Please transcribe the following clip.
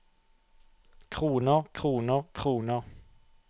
kroner kroner kroner